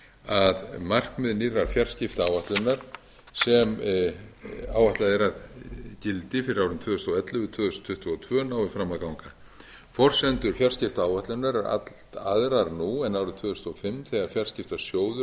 að markmið nýrrar fjarskiptaáætlunar sem áætlað er að gildi fyrir árin tvö þúsund og ellefu til tvö þúsund tuttugu og tveir nái fram að ganga forsendur fjarskiptaáætlunar eru allt aðrar nú en árið tvö þúsund og fimm þegar fjarskiptasjóður hafði yfir